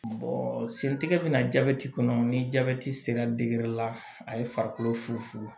sentigɛ bɛna jabɛti kɔnɔ ni jabɛti sera la a ye farikolo fufu